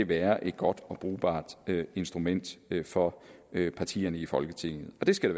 være et godt og brugbart instrument for partierne i folketinget og det skal